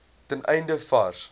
ten einde vars